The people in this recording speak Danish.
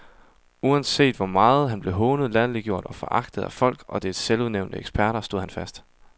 Uanset hvor meget han blev hånet, latterliggjort og foragtet af folket og dets selvudnævnte eksperter, stod han fast.